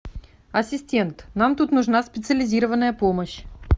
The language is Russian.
ассистент нам тут нужна специализированная помощь